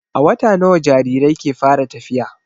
A wata nawa jarirai ke fara tafiya?